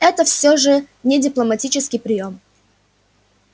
это всё же не дипломатический приём